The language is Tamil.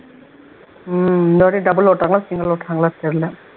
உம் இந்தவாட்டி double ஓட்றாங்களா single ஓட்றாங்களா தெரியல